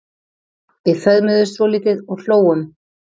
Við föðmuðumst svolítið og hlógum.